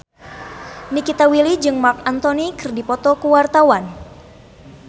Nikita Willy jeung Marc Anthony keur dipoto ku wartawan